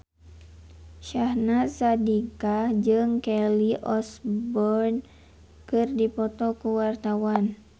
Syahnaz Sadiqah jeung Kelly Osbourne keur dipoto ku wartawan